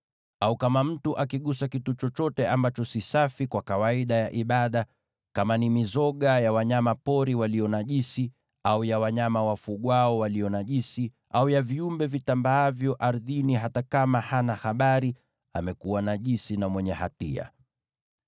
“ ‘Au kama mtu akigusa kitu chochote ambacho ni najisi, iwe ni mizoga ya wanyama pori walio najisi, au ya wanyama wafugwao walio najisi, au ya viumbe vitambaavyo ardhini, hata akiwa hana habari, amekuwa najisi na mwenye hatia.